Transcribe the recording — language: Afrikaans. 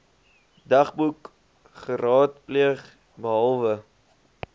dagboek geraadpleeg behalwe